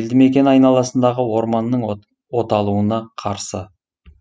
елдімекен айналасындағы орманның оталуына қарсы